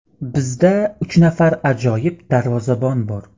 Bizda uch nafar ajoyib darvozabon bor.